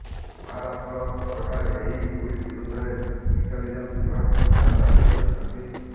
ମହାରାଷ୍ଟ୍ର ସରକାର ଏହି ଟ୍ୱିଟ ବିରୋଧରେ ଇଣ୍ଟଲିଜେନ୍ସ ବିଭାଗକୁ ଯାଞ୍ଚ ଆଦେଶ ଦେଇଛନ୍ତି